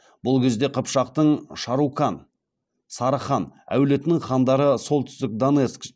бұл кезде қыпшақтың шарукан әулетінің хандары солтүстік донецк